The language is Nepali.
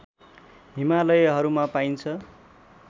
हिमालयहरूमा पाइन्छ